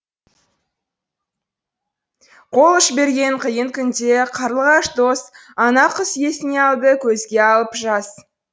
қол ұш берген қиын күнде қарлығаш дос ана құс есіне алды көзге алып жас